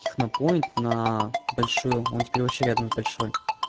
технопоинт на большую он теперь вообще рядом с большой